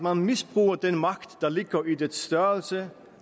at misbruge den magt der ligger i dets størrelse